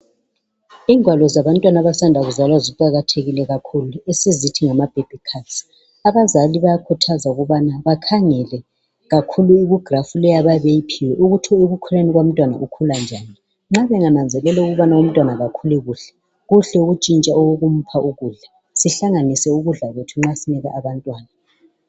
Ingwalo zabantwana abasanda kuzalwa ziqakathekile kakhulu esizithi ngamababy cards. Abazali bayakhuthazwa ukubana bakhangelwa kakhulu kugraph leyi abayabe beyiphiwe ukuthi ekukhuleni umntwana ukhula njani, nxa bengananzelela ukuthi umntwana kakhulu kuhle kuhle ukubana batshintshe umntwana ukudla sihlanganise nxa sisipha abantwana ukudla.